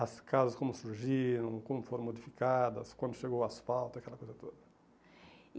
As casas como surgiram, como foram modificadas, quando chegou o asfalto, aquela coisa toda.